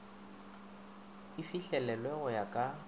e fihlelelwe go ya ka